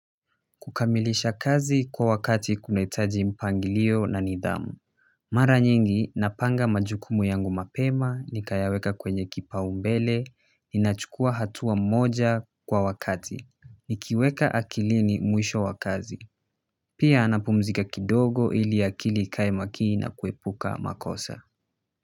Kukamilisha kazi kwa wakati, kunahitaji mpangilio na nidhamu mara nyingi napanga majukumu yangu mapema, nikayaweka kwenye kipa umbele, ninachukua hatua moja kwa wakati. Nikiweka akilini mwisho wa kazi pia napumzika kidogo ili akili ikae makini na kuepuka makosa.